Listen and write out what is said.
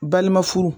Balima furu